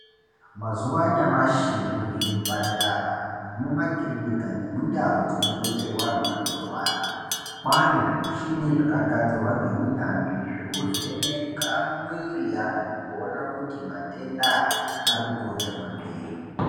Mazuwa anyamashi muzvipatara nemumakirinika nemundau dzinobetserwa vanhu vanorwara kwane zvimishini zvakagadzirwa ngeunyanzvi zvekuvheneka mwiri yevanhu kuona kuti matenda aya ari kukonzerwa nei.